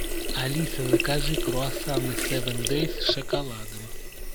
алиса закажи круассаны севен дейс с шоколадом